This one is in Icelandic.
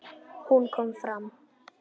Hún kom fram.